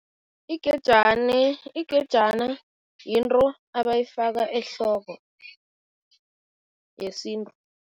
Igejana yinto abayifaka ehloko, yesintu.